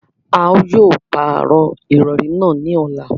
À yóò pàró irọ̀rì naá ni ọla.